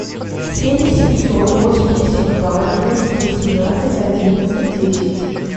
семь семьсот восемьдесят два двести восемнадцать одиннадцать десять